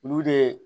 Olu de